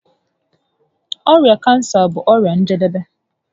Ọrịa kansa bụ ọrịa njedebe